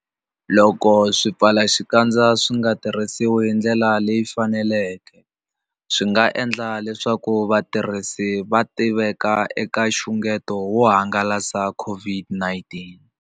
Loko swipfalaxikandza swi nga tirhisiwi hi ndlela leyi faneleke, swi nga endla leswaku vatirhisi va tiveka eka nxungeto wo hangalasa COVID-19.